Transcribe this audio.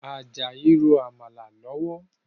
Ajayi n ro Àmàlà lọ́wọ́